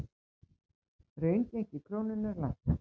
Raungengi krónunnar lækkar